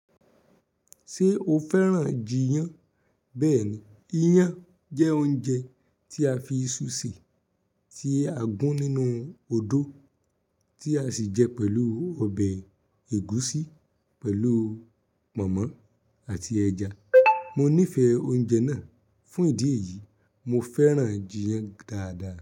Ṣé o fẹ́ràn jiyán? Bẹ́ẹ̀ni iyán jẹ́ oúnjẹ tí a fi iṣu sè tí a gún nínú odó tí a sì jẹ pẹ̀lú ọbẹ̀ ẹ̀gúsí pẹ̀lú pọ̀nmọ́ àti ẹja. Mo nífẹ̀ẹ́ oúnjẹ náà. Fún ìdí èyí, mo fẹ́ràn jiyán dáadáa.